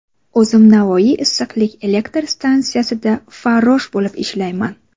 O‘zim Navoiy issiqlik elektr stansiyasida farrosh bo‘lib ishlayman.